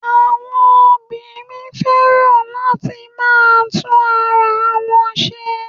Àwọn obìnrin fẹ́ràn láti máa tún ara wọn se